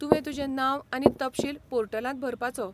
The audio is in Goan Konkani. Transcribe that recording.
तुवें तुजें नांव आनी तपशील पोर्टलांत भरपाचो.